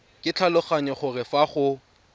ke tlhaloganya gore fa go